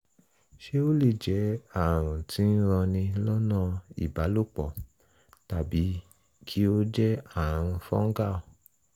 ṣé ó lè jẹ́ ààrùn tí ń ranni lọ́nà ìbálòpọ̀ tàbí kí ó jẹ́ ààrùn fungal?